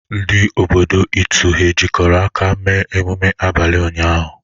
Ndi obodo Itu ha jikọrọ aka mee emume abalị ụnyaahụ?